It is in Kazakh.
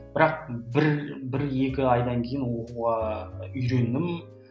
бірақ бір бір екі айдан кейін үйрендім